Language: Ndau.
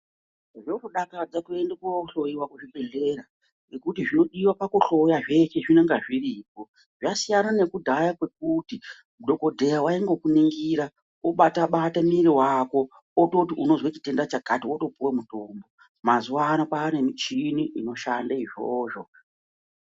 Zvodakadza kuende kohloiwa kuchibhedhleraa nekuti zvinodiwe pakuhloya zveshe zvinenge zviripo zvasiyane nekudhaya kwekuti dhokodheya waingokuningira obata bata miri wako ototi unozwa chitenda chakati wotopuwe mutombo mazuwa ano kwaane michini inoshande izvozvo.